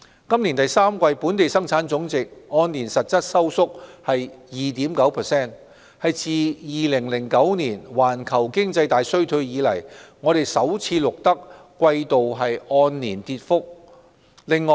今年第三季本地生產總值按年實質收縮 2.9%， 是自2009年環球經濟大衰退以來首次錄得季度按年跌幅。